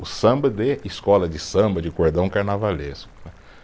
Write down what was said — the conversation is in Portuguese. O samba de escola de samba, de cordão carnavalesco né.